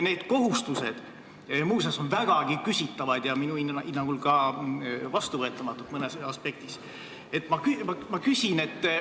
Need kohustused on muuseas vägagi küsitavad ja minu hinnangul mõnes aspektis ka vastuvõetamatud.